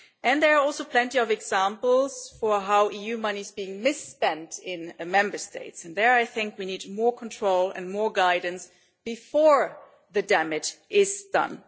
There are also plenty of examples of how EU money is being misspent in the Member States, and there we need more control and more guidance before the damage is done.